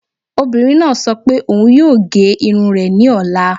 Obìnrin náà sọ pé òun yóò gé irun rẹ̀ ní ọ̀la